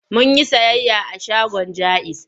Mun yi sayayya a shagon Jaiz.